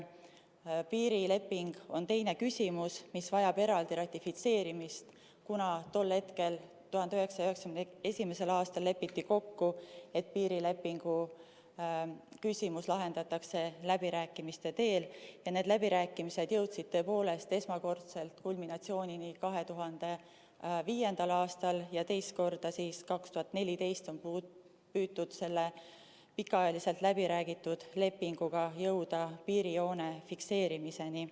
Piirileping on teine küsimus, mis vajab eraldi ratifitseerimist, kuna tol hetkel, 1991. aastal, lepiti kokku, et piirilepingu küsimus lahendatakse läbirääkimiste teel ja need läbirääkimised jõudsid tõepoolest esmakordselt kulminatsiooni 2005. aastal ja teist korda siis 2014. aastal, kui püüti jõuda selle pikaajaliselt läbiräägitud lepinguga piirijoone fikseerimiseni.